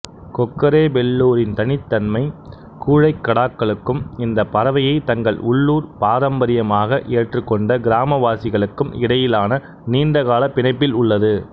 கொக்கரேபெல்லூரின் தனித்தன்மை கூழைக்கடாக்களுக்கும் இந்த பறவையை தங்கள் உள்ளூர் பாரம்பரியமாக ஏற்றுக்கொண்ட கிராமவாசிகளுக்கும் இடையிலான நீண்டகால பிணைப்பில் உள்ளது